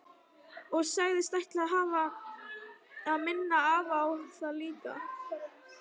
Og sagðist ætla að minna afa á það líka.